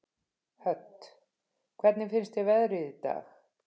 Hödd: Hvernig finnst þér veðrið í dag?